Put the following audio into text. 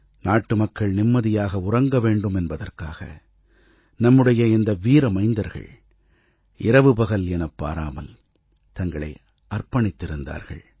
நாட்டுமக்கள் நிம்மதியாக உறங்கவேண்டும் என்பதற்காக நம்முடைய இந்த வீர மைந்தர்கள் இரவு பகல் எனப்பாராமல் தங்களை அர்ப்பணித்திருந்தார்கள்